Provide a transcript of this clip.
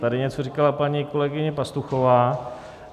Tady něco říkala paní kolegyně Pastuchová.